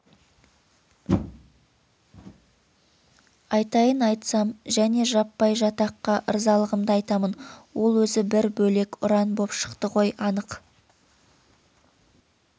айтайын айтсам және жаппай жатаққа ырзалығымды айтамын ол өзі бір бөлек ұран боп шықты ғой анық